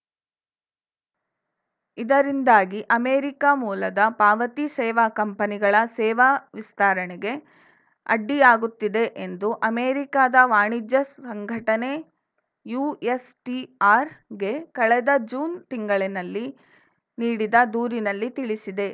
ಇದರಿಂದಾಗಿ ಅಮೆರಿಕ ಮೂಲದ ಪಾವತಿ ಸೇವಾ ಕಂಪನಿಗಳ ಸೇವಾ ವಿಸ್ತರಣೆಗೆ ಅಡ್ಡಿಯಾಗುತ್ತಿದೆ ಎಂದು ಅಮೆರಿಕದ ವಾಣಿಜ್ಯ ಸಂಘಟನೆ ಯುಎಸ್‌ಟಿಆರ್‌ಗೆ ಕಳೆದ ಜೂನ್‌ ತಿಂಗಳಿನಲ್ಲಿ ನೀಡಿದ ದೂರಿನಲ್ಲಿ ತಿಳಿಸಿದೆ